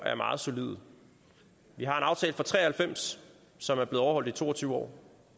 er meget solide vi har en aftale fra nitten tre og halvfems som er blevet overholdt i to og tyve år